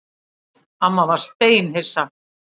Amma var steinhissa.